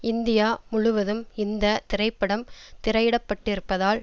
India முழுவதும் இந்த திரைப்படம் திரையிடப்பட்டிருப்பதால்